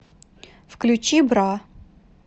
включи бра